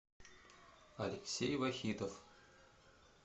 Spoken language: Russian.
алексей вахитов